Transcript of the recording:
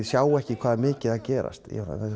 sjá ekki hvað er mikið að gerast